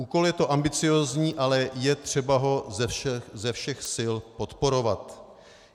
Úkol je to ambiciózní, ale je třeba ho ze všech sil podporovat.